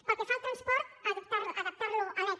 pel que fa al transport adaptar lo a lec